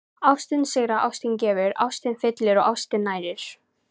Ástin sigrar, ástin gefur, ástin fyllir og ástin nærir.